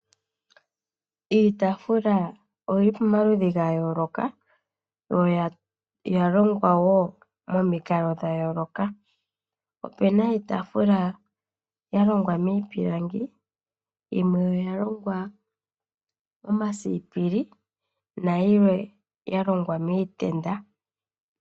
Iitaafula oyili pamaludhi ga yooloka yo oya longwa wo momikalo dha yooloka. Opena iitaafula ya longwa miipilangi, yimwe oya longwa momasiipili nayilwe ya longwa miitenda.